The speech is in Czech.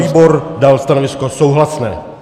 Výbor dal stanovisko souhlasné.